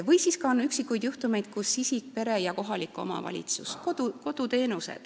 On ka üksikuid juhtumeid, kui tasuvad koos isik, pere ja kohalik omavalitsus.